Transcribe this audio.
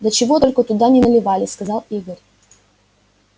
да чего только туда не наливали сказал игорь